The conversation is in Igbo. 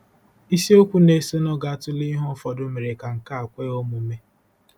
Isiokwu na-esonụ ga-atụle ihe ụfọdụ mere ka nke a kwe omume.